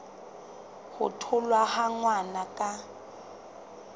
ho tholwa ha ngwana ka